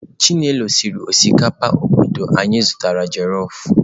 Chinelo siri osikapa obodo anyị zụtara jelọf